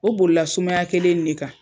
O bolila sumaya kelen nin de kan.